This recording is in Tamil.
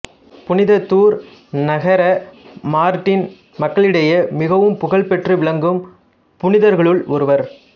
புனித தூர் நகர மார்ட்டின் மக்களிடையே மிகவும் புகழ்பெற்று விளங்கும் புனிதர்களுள் ஒருவர்